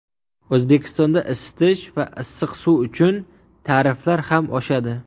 O‘zbekistonda isitish va issiq suv uchun tariflar ham oshadi.